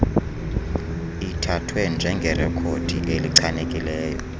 ithathwe njengerekhodi elichanekileyo